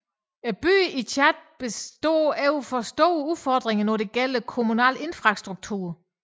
Byerne i Tchad står overfor store udfordringer når det gælder kommunal infrastruktur